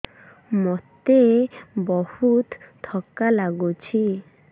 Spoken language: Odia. ମୋତେ ବହୁତ୍ ଥକା ଲାଗୁଛି